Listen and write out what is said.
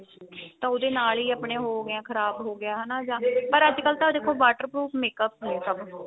ਉਹਦੇ ਨਾਲ ਹੀ ਆਪਣੇ ਹੋ ਗਿਆ ਖਰਾਬ ਹੋ ਗਿਆ ਹਨਾ ਜਾਂ ਤੇ ਪਰ ਅੱਜਕਲ ਤਾਂ ਦੇਖੋ water proof makeup ਨੇ ਸਭ ਕੋਲ